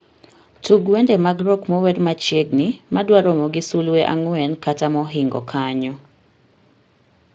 Tug wende mag rock mower machiegni madwa romo gi sulwe ang'wen kata mohingo kanyo